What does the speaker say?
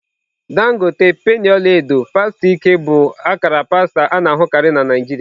Dangote, penny ọla edo, pasta ike bụ akara pasta a na-ahụkarị na Naijiria.